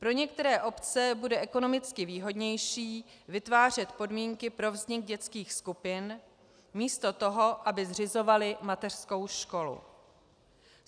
Pro některé obce bude ekonomicky výhodnější vytvářet podmínky pro vznik dětských skupin místo toho, aby zřizovaly mateřskou školu.